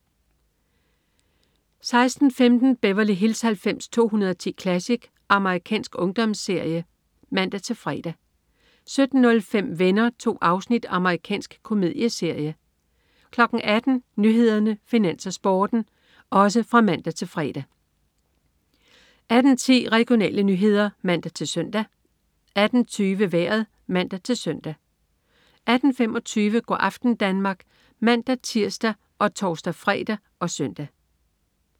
16.15 Beverly Hills 90210 Classic. Amerikansk ungdomsserie (man-fre) 17.05 Venner. 2 afsnit. Amerikansk komedieserie (man-fre) 18.00 Nyhederne, Finans, Sporten (man-fre) 18.10 Regionale nyheder (man-søn) 18.20 Vejret (man-søn) 18.25 Go' aften Danmark (man-tirs og tors-fre og søn)